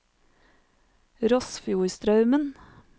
Rossfjordstraumen